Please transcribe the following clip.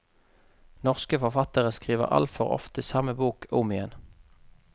Norske forfattere skriver altfor ofte samme bok om igjen.